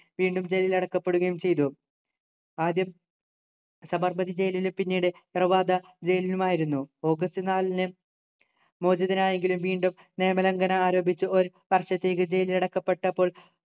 വീണ്ടും ജയിൽ അടക്കപ്പെടുകയും ചെയ്തു ആദ്യം സബർമതി ജയിലിലും പിന്നീട് പ്രവാദ ജയിലിലുമായിരുന്നു ഓഗസ്റ്റ് നാലിന് മോചിതനായെങ്കിലും വീണ്ടും നിയമലംഘനം ആരംഭിച്ച ഒരു വർഷത്തേക്ക് ജയിലിൽ അടക്കപ്പെട്ടപ്പോൾ